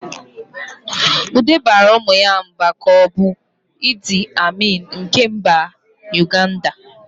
Ude baara ụmụ ya mba ka ọ bụ Idi Amin nke mba Uganda.